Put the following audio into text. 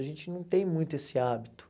A gente não tem muito esse hábito.